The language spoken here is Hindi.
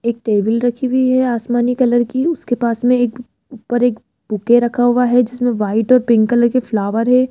एक टेबल रखी हुई है आसमानी कलर की उसके पास में एक ऊपर एक बुके रखा हुआ है जिसमें व्हाइट और पिंक कलर के फ्लावर है।